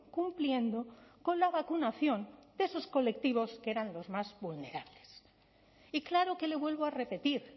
cumpliendo con la vacunación de esos colectivos que eran los más vulnerables y claro que le vuelvo a repetir